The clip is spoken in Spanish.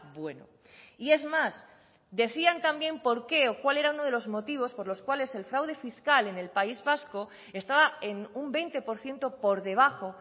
bueno y es más decían también por qué o cuál era uno de los motivos por los cuales el fraude fiscal en el país vasco estaba en un veinte por ciento por debajo